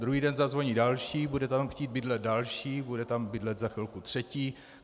Druhý den zazvoní další, bude tam chtít bydlet další, bude tam bydlet za chvilku třetí.